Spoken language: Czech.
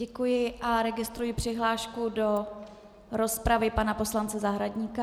Děkuji a registruji přihlášku do rozpravy pana poslance Zahradníka.